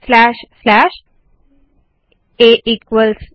slash slash आ equals ब